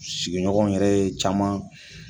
Sigi ɲɔgɔnw yɛrɛ ye caman